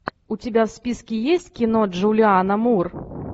у тебя в списке есть кино джулианна мур